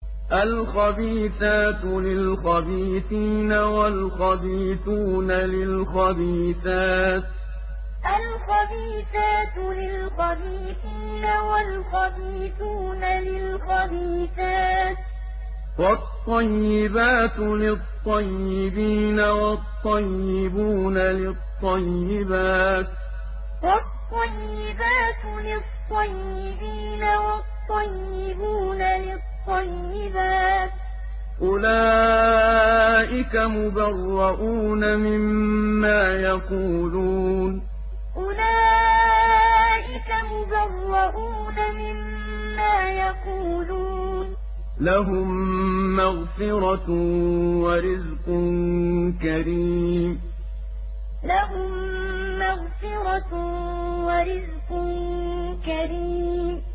الْخَبِيثَاتُ لِلْخَبِيثِينَ وَالْخَبِيثُونَ لِلْخَبِيثَاتِ ۖ وَالطَّيِّبَاتُ لِلطَّيِّبِينَ وَالطَّيِّبُونَ لِلطَّيِّبَاتِ ۚ أُولَٰئِكَ مُبَرَّءُونَ مِمَّا يَقُولُونَ ۖ لَهُم مَّغْفِرَةٌ وَرِزْقٌ كَرِيمٌ الْخَبِيثَاتُ لِلْخَبِيثِينَ وَالْخَبِيثُونَ لِلْخَبِيثَاتِ ۖ وَالطَّيِّبَاتُ لِلطَّيِّبِينَ وَالطَّيِّبُونَ لِلطَّيِّبَاتِ ۚ أُولَٰئِكَ مُبَرَّءُونَ مِمَّا يَقُولُونَ ۖ لَهُم مَّغْفِرَةٌ وَرِزْقٌ كَرِيمٌ